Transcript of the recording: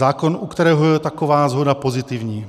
Zákon, u kterého je taková shoda pozitivní.